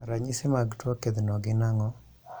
Ranyisi mag tuo kedhno gin ang'o?